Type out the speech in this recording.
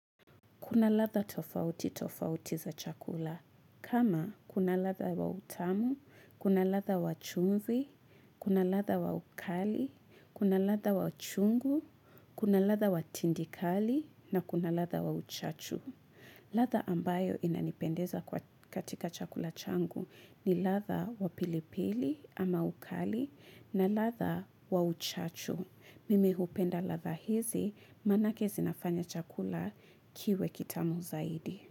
Kuna ladha tofauti tofauti za chakula. Kama kuna ladha wa utamu kuna latha wa chumvi kuna latha wa ukali kuna latha wa chungu kuna latha wa tindikali na kuna latha wa uchachu. Latha ambayo inanipendeza katika chakula changu ni latha wa pilipili ama ukali na latha wa uchachu. Mimi hupenda lava hizi manake zinafanya chakula kiwe kitamu zaidi.